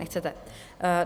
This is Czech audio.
Nechcete.